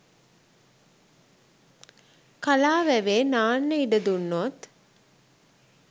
කලා වැවේ නාන්න ඉඩ දුන්නොත්